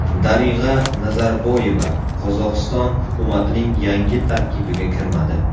Darig‘a Nazarboyeva Qozog‘iston hukumatining yangi tarkibiga kirmadi.